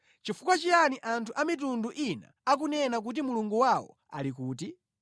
Chifukwa chiyani anthu a mitundu ina akunena kuti, “Mulungu wawo ali kuti?”